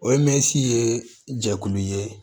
O ye mɛsi ye jɛkulu ye